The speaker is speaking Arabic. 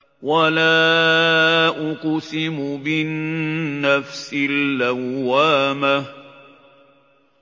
وَلَا أُقْسِمُ بِالنَّفْسِ اللَّوَّامَةِ